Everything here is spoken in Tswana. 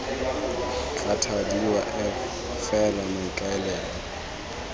tla thadiwa f fela maikaelelo